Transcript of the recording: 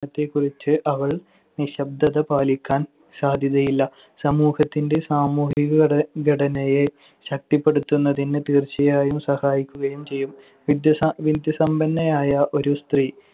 ത്തെക്കുറിച്ച് അവൾ നിശബ്ദത പാലിക്കാൻ സാധ്യതയില്ല. സമൂഹത്തിന്‍റെ സാമൂഹിക ഘട~ ഘടനയെ ശക്തിപ്പെടുത്തുന്നതിന് തീർച്ചയായും സഹായിക്കുകയും ചെയ്യും. വിദ്യാസ~ വിദ്യാസമ്പന്നയായ ഒരു സ്ത്രീ